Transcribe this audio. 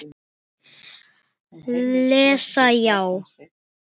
Lesa já?